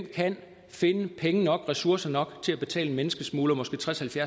kan finde penge nok og ressourcer nok til at betale en menneskesmugler måske tredstusind